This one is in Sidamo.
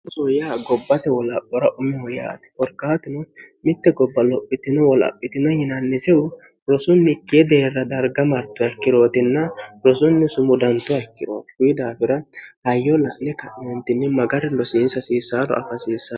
rosuu yaa gobbate wolaphora umeho yaati horgaatino mitte gobba lophitino wolaphitino yinannisehu rosunnikkie deerra darga martoa ikkirootinna rosunni sumu dantoa ikkiroouyi daafira hayyo la'ne ka'neentinni magari losiinsa hasiisaano alfasiissao